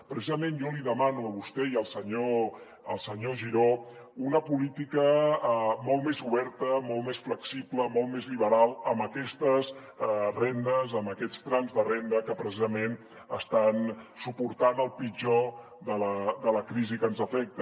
precisament jo li demano a vostè i al senyor giró una política molt més oberta molt més flexible molt més liberal amb aquestes rendes amb aquests trams de renda que precisament estan suportant el pitjor de la crisi que ens afecta